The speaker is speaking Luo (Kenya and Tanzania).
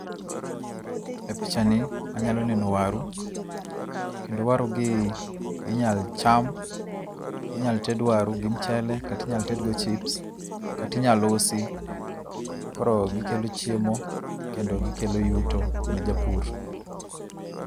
E pichani anyalo neno waru, kendo warugi inyalo cham inyalo ted waru gi michele, kata inyalo tedhgo chips kata binyalom usi koro gikelo chiemo kendo gikelo yuto ne japur.